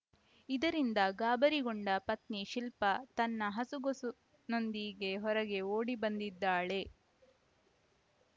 ಇದರಿಂದ ಗಾಬರಿಗೊಂಡ ಪತ್ನಿ ಶಿಲ್ಪ ತನ್ನ ಹಸುಗೊಸುನೊಂದಿಗೆ ಹೊರಗೆ ಓಡಿ ಬಂದಿದ್ದಾಳೆ